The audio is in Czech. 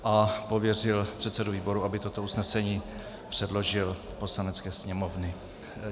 A pověřil předsedu výboru, aby toto usnesení předložil Polanecké sněmovně.